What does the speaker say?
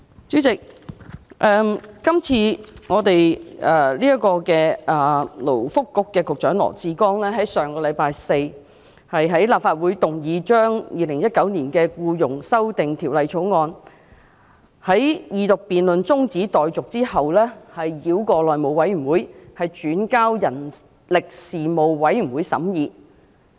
主席，勞工及福利局局長羅致光在上星期四的立法會會議上，動議《條例草案》的二讀辯論中止待續，但繞過內務委員會，轉交人力事務委員會審議。